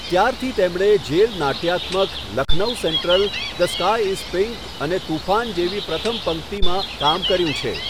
ત્યારથી તેમણે જેલ નાટ્યાત્મક 'Lucknow central', 'the sky is pink' અને 'તૂફાન' જેવી પ્રથમ પંક્તિમાં કામ કર્યું છે.